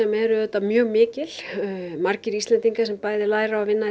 eru auðvitað mjög mikil margir Íslendingar sem bæði læra og vinna í